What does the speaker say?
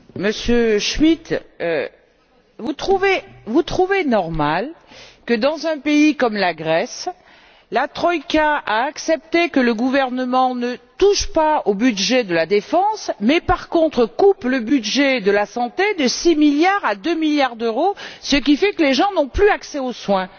Monsieur Schmidt, trouvez vous normal que dans un pays comme la Grèce, la troïka a accepté que le gouvernement ne touche pas au budget de la défense, mais par contre réduise le budget de la santé de 6 milliards à 2 milliards d'euros, ce qui fait que les gens n'ont plus accès aux soins?